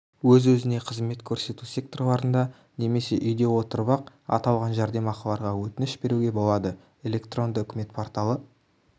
өз-өзіне қызмет көрсету секторларында немесе үйде отырып-ақ аталған жәрдемақыларға өтініш беруге болады электронды үкімет порталы